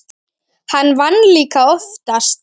Hann vann líka oftast.